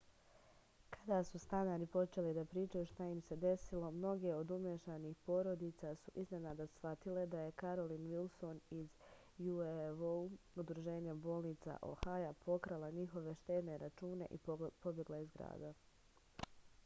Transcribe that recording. када су станари почели да причају шта им се десило многе од умешаних породица су изненада схватиле да је каролин вилсон из ubo удружења болница охаја покрала њихове штедне рачуне и побегла из града